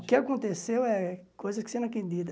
O que aconteceu é coisa que você não acredita.